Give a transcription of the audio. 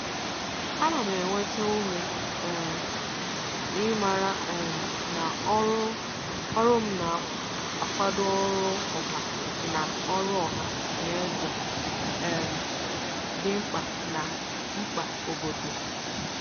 A na m enweta ume um n'ịmara um na ọrụ m na-akwado ọrụ ọha na ọrụ ọha na eze um dị mkpa na mkpa obodo.